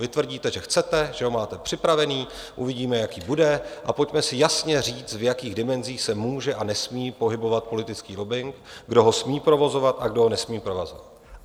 Vy tvrdíte, že chcete, že ho máte připravený, uvidíme, jaký bude, a pojďme si jasně říct, v jakých dimenzích se může a nesmí pohybovat politický lobbing, kdo ho smí provozovat a kdo ho nesmí provozovat.